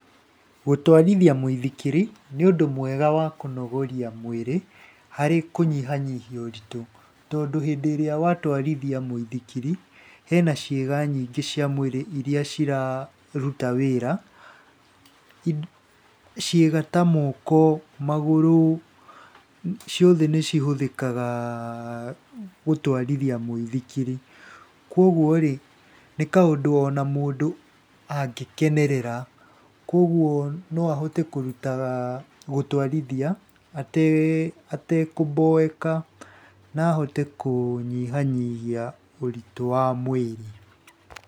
Gũtwarithia mũithikiri nĩ ũndũ mwega wa kũnogoria mwĩrĩ, harĩ kũnyihanyihia ũritũ. Tondũ hindĩ ĩrĩa watwarithia mũithikiri, hena ciĩga nyingĩ cia mwĩri iria ciraaruta wĩra. Ciĩga ta moko, magũrũ, ciothe nĩcihũthĩkaga gũtwarithia mũithikir. Koguo-rĩ nĩ kaũndũ mũndũ angĩkenerera, koguo-rĩ no ahote kũrutaga gũtwarithia atekũmboeka na ahote kũnyihanyihia ũritũ wa mwĩrĩ.